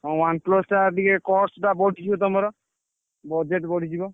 ହଁ OnePlus ଟା ଟିକେ cost ଟା ବଞ୍ଚିଯିବ ତମର। budget ବଢିଯିବ।